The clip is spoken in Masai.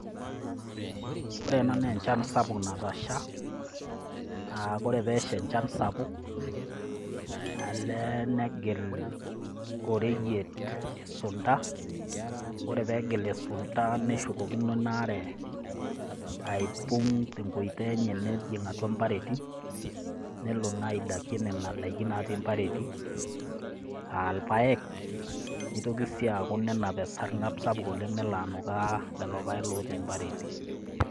Ore ena naa enchan sapuk natasha, naa ore pee esha enchan sapuk, elo nigil oreyiet isunta, ore pee egil isunta neshukokino inaare aipung' te enkoitoi enye nejing' atua impareti, nelo naa aidakie nena preti naatii atua mpareti, aa ilpaek, neitoki sii aatau esargab sapuk nelo anukaa lelo paek otii impareti.